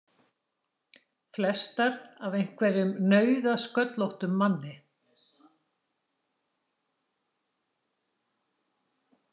Flestar af einhverjum nauðasköllóttum manni!